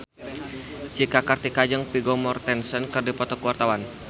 Cika Kartika jeung Vigo Mortensen keur dipoto ku wartawan